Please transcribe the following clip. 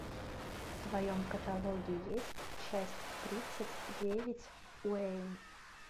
в твоем каталоге есть часть тридцать девять уэйн